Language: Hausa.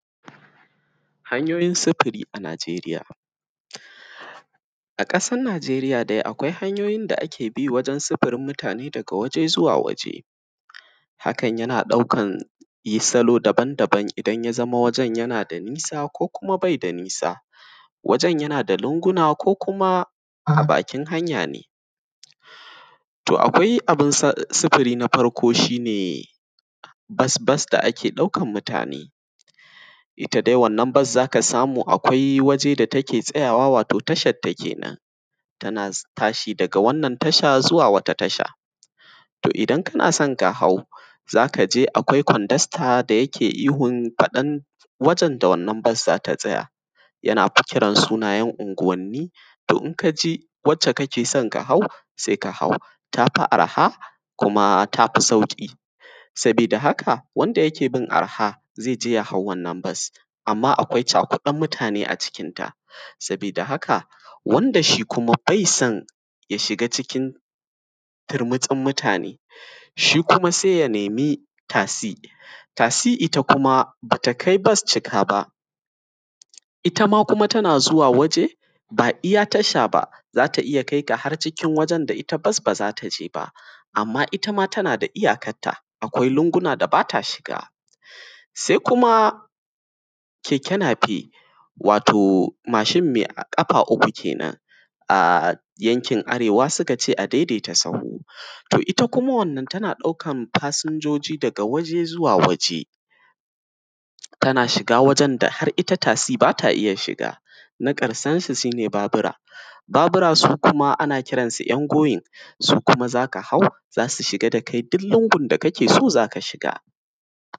hanyoyin sufuri a najeriya, a kasar najeriya dai akai hanyoyin da ake bi gurin sufurin mutane daga wuri zuwa wuri, hakan yana daukan salo daban daban idan wujen yana da nisa ko kuma baida nisa wajen yana da linguna ko kuma bakin hanya ne. to akwai abun sufuri na farko itta ne asbus da ake daukan mutane, itta dai wannan bus zaka samu akwai waje da take tsayawa wato tasharta kenan tana tashiˋ daga wannan tasha zuwa wata tasha to idan kanason kahau zakaje akwai kwandasta da yake ihun fadan wajen da wannan bus zata tsaya, yana fa kiran sunayen unguwanni to inkaji wacce kakeson kahau saika hau tafi arha kuma tafi sauku sabidda hakka wanda yakebin arha zaije jahau wannan bus. Amma akwai cakudden mutane a cikin ta sa badda haka wanda shi kuma bai son turmutsin mutane shi kuma saiya nemi tasi, tasi itta kuma bata kai bus cika ba itta kuma tana zuwa waje ba iyya tasha ba zata iyya kaika har iyya wajen da bus bazata iyya zuwa ba. Amma itta ma tana da iyya kanta akwai lunguna da bata shiga. Sai kuma keke nafe wato mashin me kafa uku kenan, a yankin arewa sukace a daidai ta sahu itta kuma wannan tana daukan fasinjoji daga waje zuwa waje, tana shiga wajen da da itta tasiˋ shiga. na karshen su shine babura, babura sukuma ana kiran su yan goyin su kuma zaka hau zasu duk inda sau ran basa shiga.